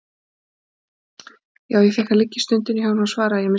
Jú, ég fékk að liggja í stofunni hjá honum, svaraði ég með semingi.